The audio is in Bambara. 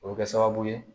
O bɛ kɛ sababu ye